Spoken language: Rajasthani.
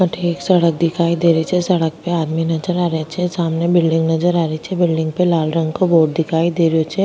अठे एक सड़क दिखाई दे रही छे सड़क पे आदमी नजर आ रिया छे सामने बिल्डिंग नजर आ रही छे बिल्डिंग पे लाल रंग को बोर्ड दिखाई दे रहियो छे।